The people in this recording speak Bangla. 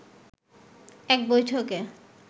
এক বৈঠকে